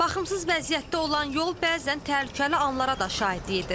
Baxımsız vəziyyətdə olan yol bəzən təhlükəli anlara da şahidlik edir.